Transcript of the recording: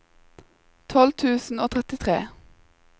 tolv tusen og trettitre